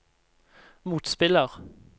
motspiller